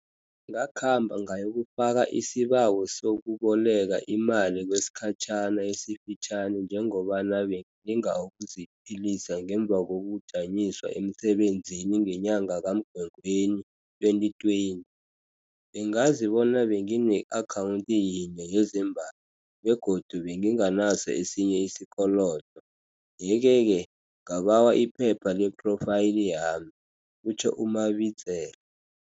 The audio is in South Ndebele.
Ngakhamba ngayokufaka isibawo sokuboleka imali kwesikhatjhana esifitjhani njengobana bengilinga ukuziphilisa ngemva kokujanyiswa emsebenzini ngenyanga kaMgwengweni 2020. Bengazi bona bengine-akhawunti yinye yezembatho begodu benginganaso esinye isikolodo, yekeke ngabawa iphepha lephrofayili yami, kutjho u-Mabitsela.